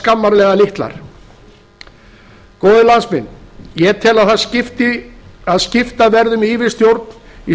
skammarlega litlar góðir landsmenn ég tel að skipta verði um yfirstjórn í